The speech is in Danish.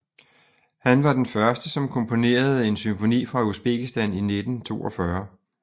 Han var den første som komponerede en symfoni fra Usbekistan i 1942